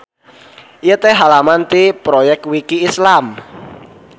Ieu teh halaman ti Proyekwiki Islam.